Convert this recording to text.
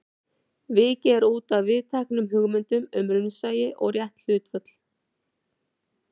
Vikið er útaf viðteknum hugmyndum um raunsæi og rétt hlutföll.